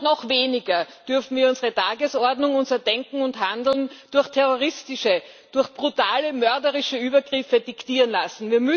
Noch weniger dürfen wir unsere Tagesordnung unser Denken und Handeln durch terroristische, durch brutale mörderische Übergriffe diktieren lassen.